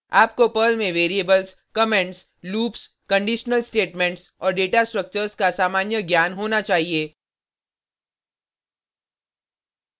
आपको पर्ल में variables comments loops conditional statements और डेटा स्ट्रक्चर्स का सामान्य ज्ञान होना चाहिए